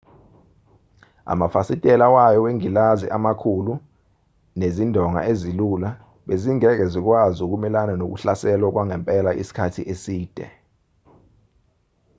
amafasitela wayo wengilazi amakhulu nezindonga ezilula bezingeke zikwazi ukumelana nokuhlaselwa kwangempela isikhathi eside